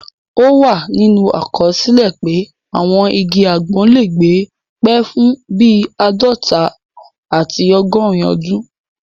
Ó wà nínú àkọsílẹ̀ pé àwọn igi àgbọn lè gbé pẹ́ fún bíi àádọta àti ọgọrùn ọdún